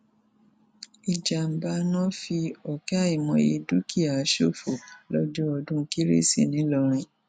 ìjàḿbà iná fi ọkẹ àìmọye dúkìá ṣòfò lọjọ ọdún kérésì ńìlọrin